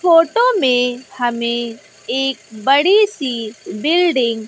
photo में हमें एक बड़ी सी बिल्डिंग --